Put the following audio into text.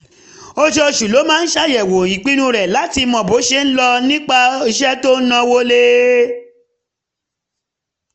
oṣooṣù ló máa ń ṣàyẹ̀wò ìpinnu rẹ̀ láti mọ bó ṣe ń lọ nípa iṣẹ́ tó ń náwó lé